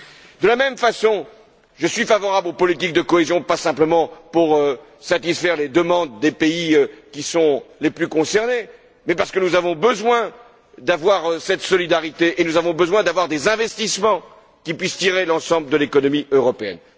De la même façon, je suis favorable aux politiques de cohésion, pas simplement pour satisfaire les demandes des pays qui sont les plus concernés, mais parce que nous avons besoin d'avoir cette solidarité et nous avons besoin d'avoir des investissements qui puissent tirer l'ensemble de l'économie européenne.